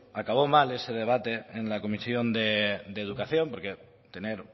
acabó mal ese debate en la comisión de educación porque tener